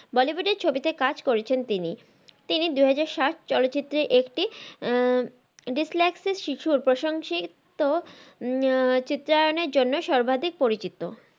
bollywood এর ছবিতে কাজ করেছেন তিনি তিনি দুহাজার সাত চলচিত্রের একটি আহ dyslexia শিশুর প্রশংসিত চিত্রায়নের জন্য সর্বাধিক পরিচিত।